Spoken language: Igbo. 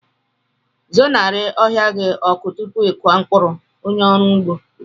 Zenarị ohia gị ọkụ tupu ịkụ mkpụrụ, onye ọrụ ugbo kwuru.